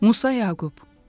Musa Yaqub.